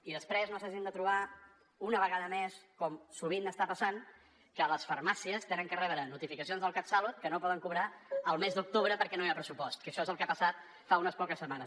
i que després no s’hagin de trobar una vegada més com sovint està passant que les farmàcies han de rebre notificacions del catsalut que no poden cobrar el mes d’octubre perquè no hi ha pressupost que això és el que ha passat fa unes poques setmanes